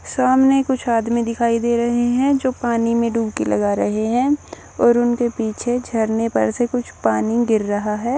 सामने कुछ आदमी दिखाई दे रहे हैं जो पानी में डुबकी लगा रहे हैं और उनके पीछे झरने पर से कुछ पानी गिर रहा है।